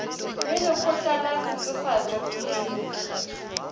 le lekgotla la netefatšo boleng